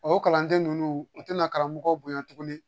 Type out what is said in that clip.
O kalanden ninnu u tɛna karamɔgɔ bonya tugun